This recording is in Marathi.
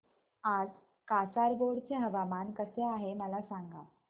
आज कासारगोड चे हवामान कसे आहे मला सांगा